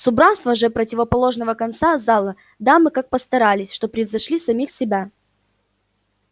с убранством же противоположного конца зала дамы так постарались что превзошли самих себя